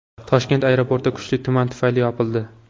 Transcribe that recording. Toshkent aeroporti kuchli tuman tufayli yopildi.